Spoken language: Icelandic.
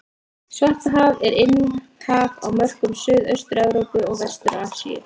Svartahaf er innhaf á mörkum Suðaustur-Evrópu og Vestur-Asíu.